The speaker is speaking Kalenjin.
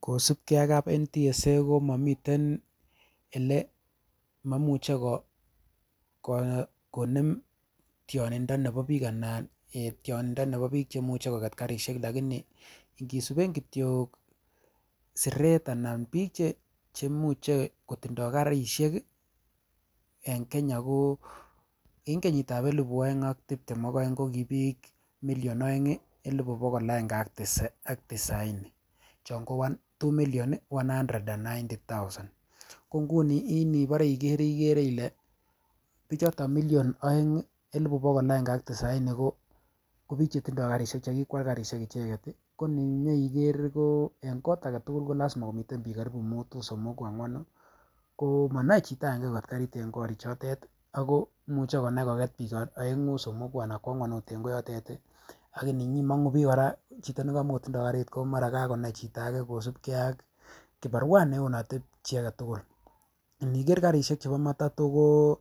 Kosipge ak kap National Transport and Safety Authority(NTSA) komomiten ele momuche konem tionindo nepo biik anan tionindo nepo biik chemuche koket karisiek lakini ngisipen kityok siret anan biik chemuche kotindoo karisiek en Kenya ko en kenyitap elfu aeng ak tiptem aeng kokii biik million aeng elfu bogol aenge ak tisaini chon ko two million one hundred and ninety thousand konguni inipore ikere ile bichoton million aeng elfu bogol aenge ak tisaini ko biik chetindoo karisiek chekikwal karisiek icheket koninyoiker ko en kot aketugul kolasima komiten biik karibu mutu, somoku ang'wanu, koo monoe chito akenge koket karit en korichotet imuche konai koket biik aeng'u, somoku anan kwa ang'wan ot en koyote akinimong'uu bii kora chito nekamokotindoo karit komara kakonai chito ake kosipke ak kibarua neonote chi agetugul iniker karisiek chepo matato ko